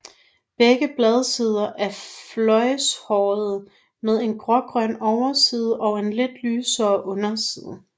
Begge bladsider er fløjlshårede med en grågrøn overside og en lidt lysere underside